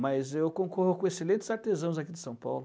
Mas eu concorro com excelentes artesãos aqui de São Paulo.